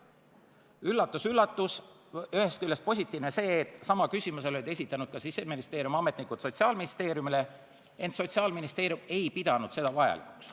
Üllatus-üllatus, ühest küljest positiivne oli see, et sama küsimuse olid Sotsiaalministeeriumile esitanud ka Siseministeeriumi ametnikud, ent Sotsiaalministeerium ei pidanud seda vajalikuks.